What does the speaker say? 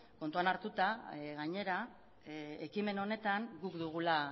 kontuan hartuta gainera ekimen honetan guk dugula